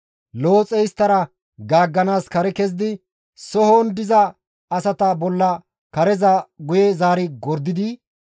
Looxey isttara gaagganaas kare kezidi sohon diza asata bolla kareza guye zaari gordidi,